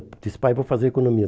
Disse, pai, vou fazer economia.